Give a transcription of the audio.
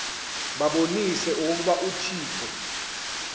babonise okokuba uthixo